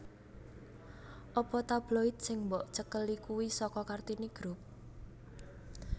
Apa tabloid sing mbok cekeli kui soko Kartini group